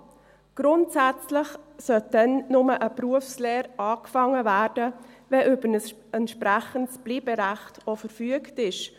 Grundsätzlich sollte dann nur eine Berufslehre angefangen werden, wenn über ein entsprechendes Bleiberecht verfügt wird.